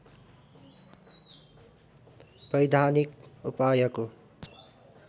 वैधानिक उपायको